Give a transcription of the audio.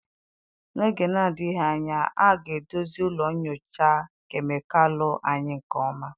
N'oge na-adịghị anya, a ga-edozi ụlọ nyocha kemịkalụ anyị nke ọma.